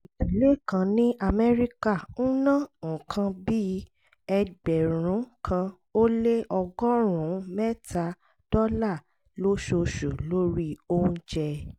ìdílé kan ní amẹ́ríkà ń ná nǹkan bí ẹgbẹ̀rún kan ó lé ọgọ́rùn-ún mẹ́ta dọ́là lóṣooṣù lórí oúnjẹ